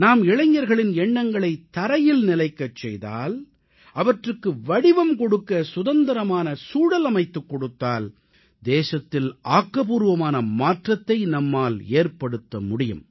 நாம் இளைஞர்களின் எண்ணங்களை பூமியில் நிலைக்கச் செய்தால் அவற்றுக்கு வடிவம் கொடுக்க சுதந்திரமான சூழலமைத்துக் கொடுத்தால் தேசத்தில் ஆக்கப்பூர்வமான மாற்றத்தை நம்மால் ஏற்படுத்த முடியும்